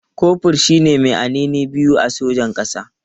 Kofur shi ne mai anini biyu a sojan ƙasa.